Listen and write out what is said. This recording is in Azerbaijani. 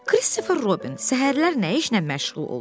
Kristofer Robin səhərlər nə işlə məşğul olur?